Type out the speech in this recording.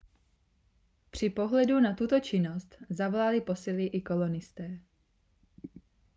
při pohledu na tuto činnost zavolali posily i kolonisté